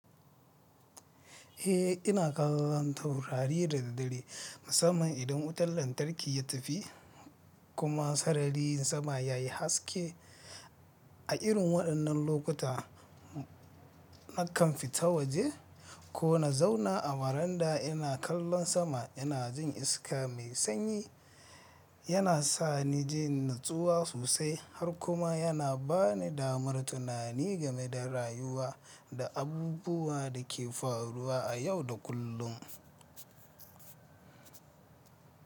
Eh, ina kallon taurari da daddare. Musamman idan wutan lantarki ya tafi kuma sarariyi sama yayi haske. A irin waɗannan lokuta nakan fita waje ko na zauna a waranda ina kallon sama ina jin iska mai sanyi yana sani jin natsuwa sosai har kuma yana bani damar tunani game da rayuwa da abubuwa da ke faruwa a yau da kullum.